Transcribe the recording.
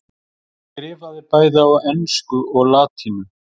Hann skrifaði bæði á ensku og latínu.